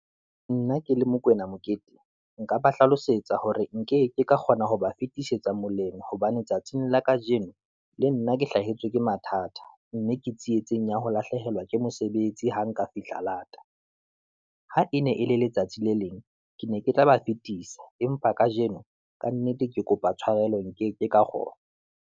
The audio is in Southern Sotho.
Nna ke le Mokoena Mokete, nka ba hlalosetsa hore nke ke ka kgona ho ba fetisetsa moleng, hobane tsatsing la kajeno le nna ke hlahetswe ke mathata, mme ke tsietseng ya ho na lahlehelwa ke mosebetsi ha nka fihla lata. Ha e ne e le letsatsi le leng, ke ne ke tla ba fetisa, empa kajeno ka nnete ke kopa tshwarelo nkeke ka kgona.